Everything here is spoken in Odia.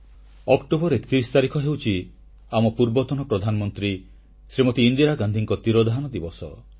ଅକ୍ଟୋବର 31 ତାରିଖ ହେଉଛି ଆମ ପୂର୍ବତନ ପ୍ରଧାନମନ୍ତ୍ରୀ ଶ୍ରୀମତୀ ଇନ୍ଦିରା ଗାନ୍ଧୀଙ୍କ ତିରୋଧାନ ଦିବସ